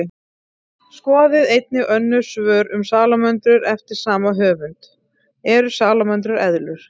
Skoðið einnig önnur svör um salamöndrur eftir sama höfund: Eru salamöndrur eðlur?